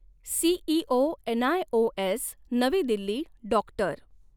CEO NIOS Navi Delhi doctor.